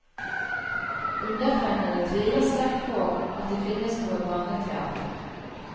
Undertegnede tviler sterkt på at det finnes noe barneteater.